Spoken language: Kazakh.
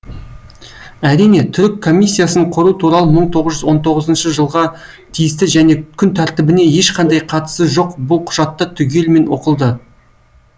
әрине түрік комиссиясын құру туралы мың тоғыз жүз он тоғызыншы жылға тиісті және күн тәртібіне ешқандай қатысы жоқ бұл құжатта түгелімен оқылды